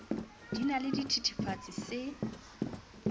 di na le sethethefatsi se